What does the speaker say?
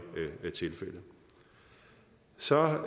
tilfældet så